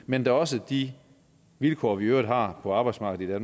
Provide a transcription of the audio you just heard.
men da også de vilkår vi i øvrigt har på arbejdsmarkedet i